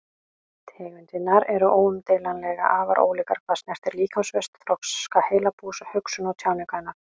Tegundirnar eru óumdeilanlega afar ólíkar hvað snertir líkamsvöxt, þroska heilabúsins, hugsun og tjáningu hennar.